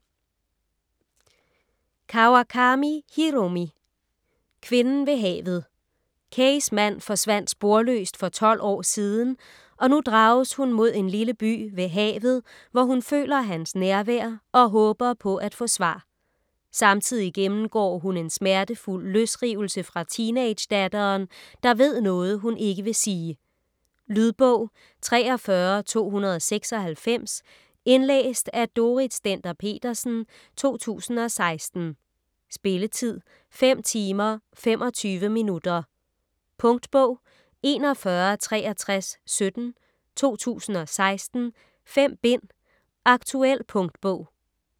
Kawakami, Hiromi: Kvinden ved havet Keis mand forsvandt sporløst for tolv år siden, og nu drages hun mod en lille by ved havet, hvor hun føler hans nærvær og håber på at få svar. Samtidig gennemgår hun en smertefuld løsrivelse fra teenagedatteren, der ved noget hun ikke vil sige. Lydbog 43296 Indlæst af Dorrit Stender-Petersen, 2016. Spilletid: 5 timer, 25 minutter. Punktbog 416317 2016. 5 bind. Aktuel punktbog